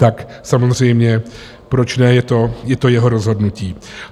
Tak samozřejmě, proč ne, je to jeho rozhodnutí.